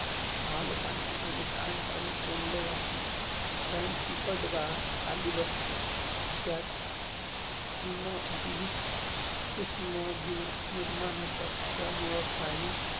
मालपानी आणि सांद्पानी, कोंदलं जाते अणि चिकट गाळ जून खाली बसतो. त्यात बिना~जीविक सुश्म जिव निर्माण होतात.